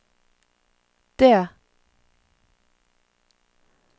det